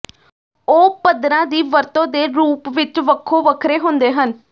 ਉਹ ਪੱਥਰਾਂ ਦੀ ਵਰਤੋਂ ਦੇ ਰੂਪ ਵਿਚ ਵੱਖੋ ਵੱਖਰੇ ਹੁੰਦੇ ਹਨ